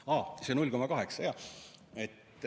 Aa, see 0,8 ruutmeetrit.